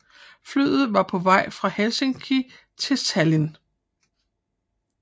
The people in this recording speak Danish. Flyet var på vej fra Helsinki til Tallinn